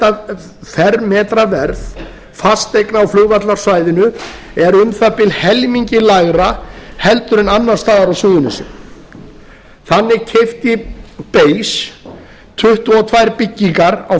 að fermetraverð fasteigna á flugvallarsvæðinu er um það bil helmingi lægra heldur en annars staðar á suðurnesjum þannig keypti base tuttugu og tvær byggingar á